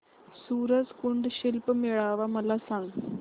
सूरज कुंड शिल्प मेळावा मला सांग